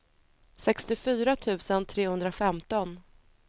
sextiofyra tusen trehundrafemton